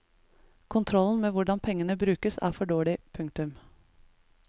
Kontrollen med hvordan pengene brukes er for dårlig. punktum